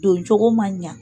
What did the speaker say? Doncogo man ɲa.